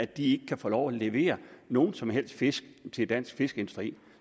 de ikke kan få lov at levere nogen som helst fisk til dansk fiskeindustri